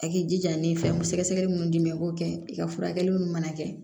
A k'i jija ni fɛn mun sɛgɛsɛgɛli mun di i b'o kɛ i ka furakɛli minnu mana kɛ